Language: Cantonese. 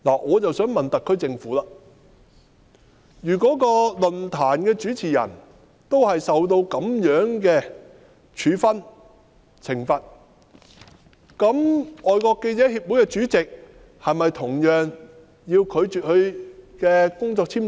我想問特區政府，如果論壇主持人受到這樣的處分、懲罰，那香港是否亦應同樣拒批外國記者會主席的工作簽證？